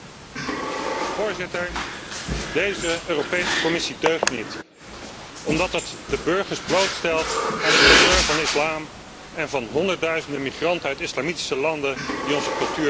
Voorzitter, deze Europese Commissie deugt niet omdat ze de burgers blootstelt aan de terreur van de islam en van honderdduizenden migranten uit islamitische landen die onze cultuur verachten.